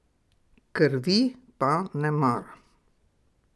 Krvi pa ne maram.